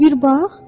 Bir bax.